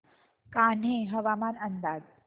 कान्हे हवामान अंदाज